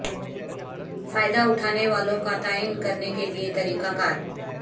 فائدہ اٹھانے والوں کا تعین کرنے کے لئے طریقہ کار